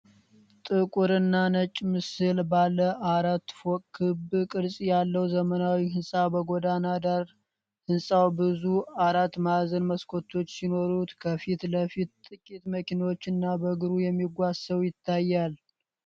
ጥቁርና ነጭ ምስል ባለ አራት ፎቅ ክብ ቅርጽ ያለው ዘመናዊ ሕንፃ በጎዳና ዳር። ሕንፃው ብዙ አራት ማዕዘን መስኮቶች ሲኖሩት፣ ከፊት ለፊት ጥቂት መኪኖችና በእግሩ የሚጓዝ ሰው ይታያል።